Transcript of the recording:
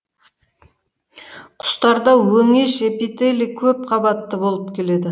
құстарда өңеш эпителийі көп кабатты болып келеді